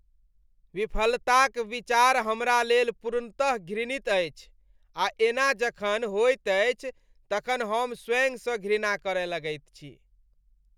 विफलताक विचार हमरा लेल पूर्णतः घृणित अछि आ एना जखन होइत अछि तखन हम स्वयंसँ घृणा करय लगैत छी।